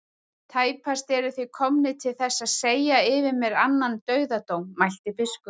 Tæpast eruð þið komnir til þess að segja yfir mér annan dauðadóm, mælti biskup.